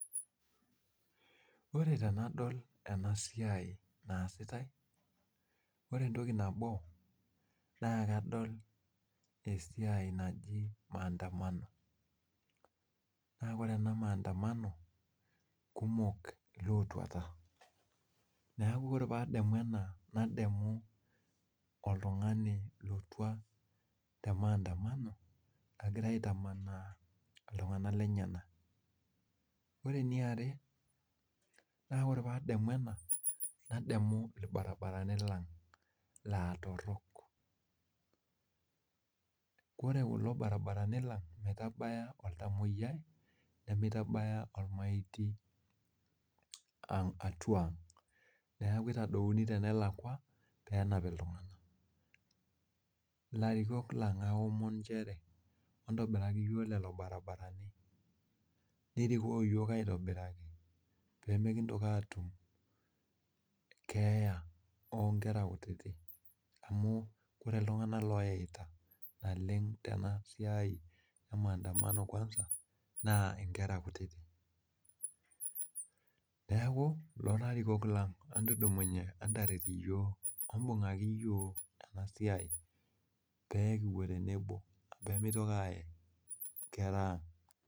Ore tenadol ena siai naasiate, ore entoki nabo naa kadol esiai naji maandamano. Naa kore ena maendeleo naa kumok ilootwata. Neeku ore paadamu ena, nadamu oltung'ani lotwa te maandamano egirai aitamanaa iltung'anak lenyenak. Ore eniare, naa ore paadamu ena nadamu irbaribarani lang laa torrok. Kore kulo baribarani lang, mitabaya oltamwoyiai nemitabaya olmaitiy atwa ang'. Neeku itadouni tenelakwa peenap iltung'anak. Ilarikok lang, aomon nchere entobiraki iyiok lelo baribarani nirikoo iyiok aitobiraki peemekintoki aatum keeya oo nkera kutiti amu ore iltung'anak loyeita naleng' tena siai e maandamano kwanza naa inkera kutiti. Neeku ilarikok lang entudumunye entaret iyiok, ebung'akiti iyiok ena siai pee kipwo tenebo peemeitoki aaye nkera ang'